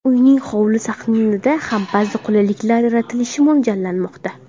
Uyning hovli sahnida ham ba’zi qulayliklar yaratilishi mo‘ljallanmoqda.